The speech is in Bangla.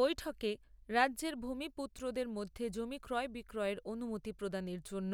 বৈঠকে রাজ্যের ভূমিপুত্রদের মধ্যে জমি ক্রয় বিক্রয়ের অনুমতি প্রদানের জন্য